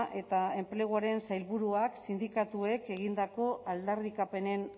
eta enpleguko sailburuak sindikatuek egindako aldarrikapenen